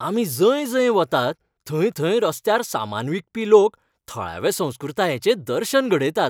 आमी जंय जंय वतात थंय थंय रस्त्यार सामान विकपी लोक थळाव्या संस्कृतायेचें दर्शन घडयतात.